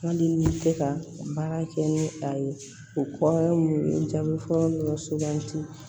Hali ni tɛ ka baara kɛ ni a ye o kɔrɔ mun ye n jaabi fɔlɔ dɔrɔn sugandi